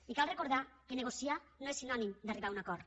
i cal recordar que negociar no és sinònim d’arribar a un acord